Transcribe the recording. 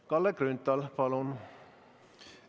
Kalle Grünthal, palun!